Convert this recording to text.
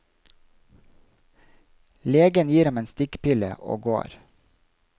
Legen gir ham en stikkpille og går.